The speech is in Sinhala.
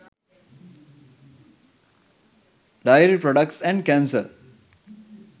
dairy products and cancer